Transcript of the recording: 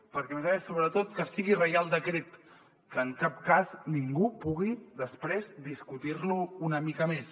perquè a més a més sobretot que sigui reial decret que en cap cas ningú pugui després discutir lo una mica més